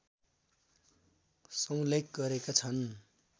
समुल्लेख गरेका छन्।